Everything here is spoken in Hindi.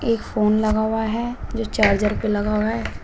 एक फोन लगा हुआ है जो चार्जर पर लगा हुआ है।